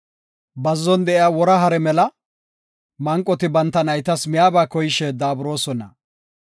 Bazzon de7iya wora hare mela, manqoti banta naytas miyaba koyishe daaburoosona.